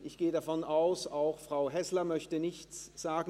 Ich gehe davon aus, auch Frau Häsler möchte nichts dazu sagen.